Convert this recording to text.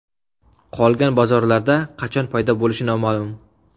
Qolgan bozorlarda qachon paydo bo‘lishi noma’lum.